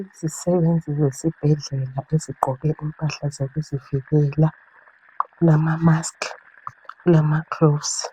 Izisebenzi zesibhedlela ezigqoke impahla zokuzivikela lamamask lamagilovisi